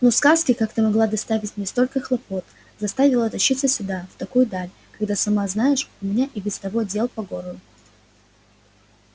ну сказки как ты могла доставить мне столько хлопот заставила тащиться сюда в такую даль когда сама знаешь у меня и без того дел по горло